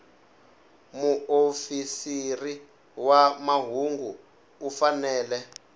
muofisiri wa mahungu u fanele